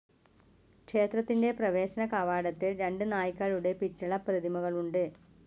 ക്ഷേത്രത്തിൻ്റെ പ്രവേശന കവാടത്തിൽ രണ്ട് നായ്ക്കളുടെ പിച്ചള പ്രതിമകളുണ്ട്.